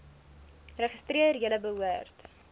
registreer julle behoort